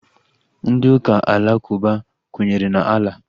Ndị ụka alakụba kwenyere na Allah